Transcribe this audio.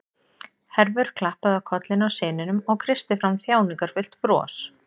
Hervör klappaði á kollinn á syninum og kreisti fram þjáningarfullt bros.